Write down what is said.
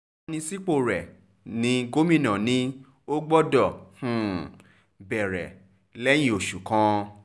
ìyànsípò rẹ ní gómìnà ni o gbọdọ̀ um bẹ̀rẹ̀ lẹ́yẹ-ò-sọkà